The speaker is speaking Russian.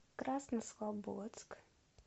краснослободск